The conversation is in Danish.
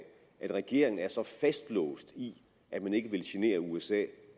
at regeringen er så fastlåst i at man ikke vil genere usa